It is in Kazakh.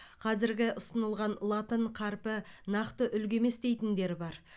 қазіргі ұсынылған латын қарпі нақты үлгі емес дейтіндер бар